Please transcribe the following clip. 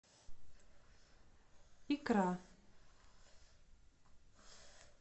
икра